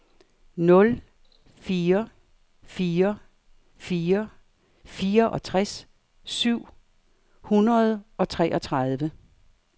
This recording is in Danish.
nul fire fire fire fireogtres syv hundrede og treogtredive